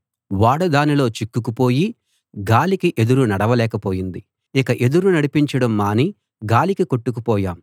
ఓడ దానిలో చిక్కుకుపోయి గాలికి ఎదురు నడవలేక పోయింది ఇక ఎదురు నడిపించడం మాని గాలికి కొట్టుకుపోయాం